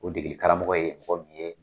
O degeli karamɔgɔ ye